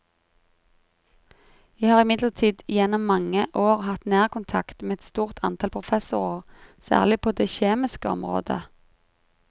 Jeg har imidlertid gjennom mange år hatt nær kontakt med et stort antall professorer særlig på det kjemiske område.